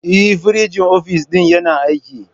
Eh, firinjin ofis ɗin yana aiki.